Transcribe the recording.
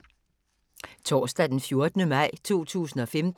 Torsdag d. 14. maj 2015